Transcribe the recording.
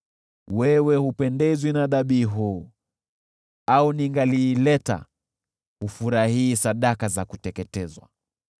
Wewe hupendezwi na dhabihu, au ningaliileta, hufurahii sadaka za kuteketezwa.